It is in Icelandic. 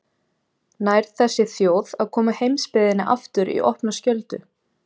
Nær þessi þjóð að koma heimsbyggðinni aftur í opna skjöldu?